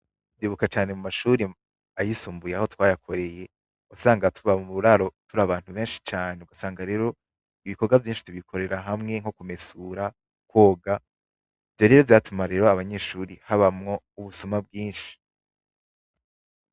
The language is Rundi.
Ndibuka cane mumashure ayisumbuye aho twayakoreye wasanga tuba muburaro turi abantu benshi cane usanga rero ibikorwa vyinshi tubikorera hamwe nko kumesura, koga ivyo rero vyatuma rero abanyeshure habamwo ubusuma bwinshi.